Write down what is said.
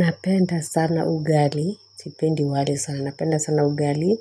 Napenda sana ugali sipendi wali sana napenda sana ugali